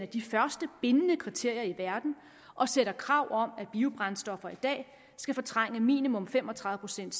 de første bindende kriterier i verden og stiller krav om at biobrændstoffer i dag skal fortrænge minimum fem og tredive procent